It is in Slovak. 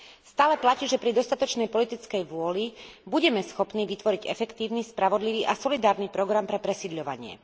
Stále platí, že pri dostatočnej politickej vôli budeme schopní vytvoriť efektívny, spravodlivý a solidárny program pre presídľovanie.